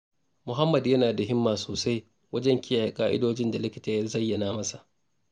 Muhammad yana da himma sosai wajen kiyaye ƙa'idojin da likita ya zayyana masa.